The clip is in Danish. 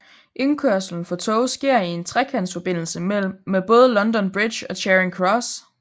Indkørslen for tog sker i en trekantsforbindelse med både London Bridge og Charing Cross